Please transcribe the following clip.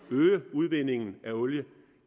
øge udvindingen af olie